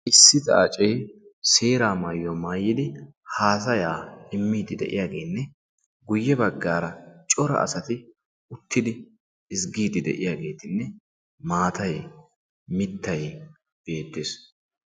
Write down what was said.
Issi xaacee seeraa maayuwaa maayidi haasayaa immidi de'iyaagenne guye baggaara cora asati uttidi ezggiidi de'iyaagetinne maatay mittay beettees.